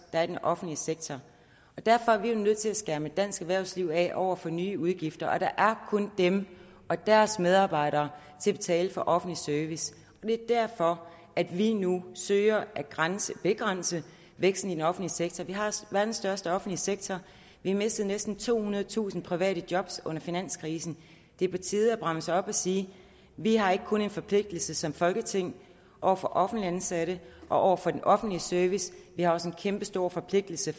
er i den offentlige sektor derfor er vi nødt til at skærme dansk erhvervsliv af over for nye udgifter der er kun dem og deres medarbejdere til at betale for offentlig service og det er derfor at vi nu søger at begrænse begrænse væksten i den offentlige sektor vi har verdens største offentlige sektor vi mistede næsten tohundredetusind private job under finanskrisen det er på tide at bremse op og sige vi har ikke kun en forpligtelse som folketing over for offentligt ansatte og over for den offentlige service vi har også en kæmpestor forpligtelse